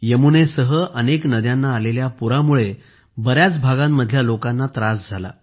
यमुनेसहअनेक नद्यांना आलेल्या पुरामुळे बऱ्याच भागांमधल्या लोकांना त्रास झाला